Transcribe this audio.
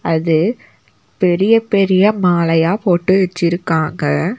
அது பெரிய பெரிய மாலயா போட்டு வெச்சிருக்காங்க.